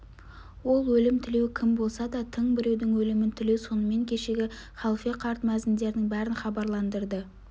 ол өлім тілеу кім болса да тың біреудің өлімін тілеу сонымен кешегі халфе қарт мәзіндердің бәрін хабарландырды